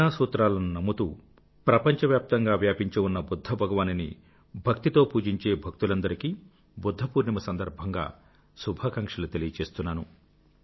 కరుణా సూత్రాలను నమ్ముతూ ప్రపంచవ్యాప్తంగా వ్యాపించి ఉన్న బుధ్ధ భగవానుని భక్తితో పూజించే భక్తులందరికీ బుధ్ద పూర్ణిమ సందర్భంగా శుభాకాంక్షలు అందజేస్తున్నాను